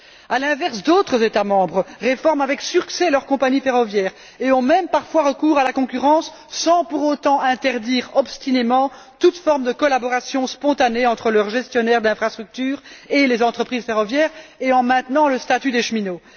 À l'inverse, d'autres États membres réforment avec succès leur compagnie ferroviaire et ont même parfois recours à la concurrence, sans pour autant interdire obstinément toute forme de collaboration spontanée entre leurs gestionnaires d'infrastructures et les entreprises ferroviaires, et en maintenant le statut des cheminots.